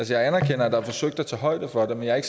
jeg anerkender at der er forsøgt at tage højde for det men jeg er